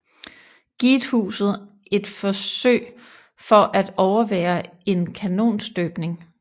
Giethuset et besøg for at overvære en kanonstøbning